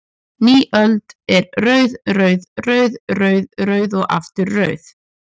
Ný öld er rauð, rauð, rauð, rauð, rauð og aftur rauð?